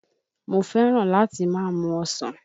Mo fẹ́ràn láti máa mu ọsàn